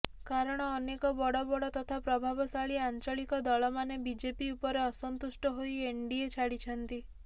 କାରଣ ଅନେକ ବଡ଼ ବଡ଼ ତଥା ପ୍ରଭାବଶାଳୀ ଆଞ୍ଚଳିକ ଦଳମାନେ ବିଜେପି ଉପରେ ଅସନ୍ତୁଷ୍ଟ ହୋଇ ଏନଡ଼ିଏ ଛାଡ଼ିଛନ୍ତି